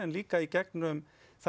líka í gegnum